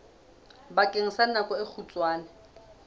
bakeng sa nako e kgutshwane